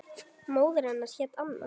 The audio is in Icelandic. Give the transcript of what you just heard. Móðir hennar hét Anna